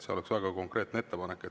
See oleks väga konkreetne ettepanek.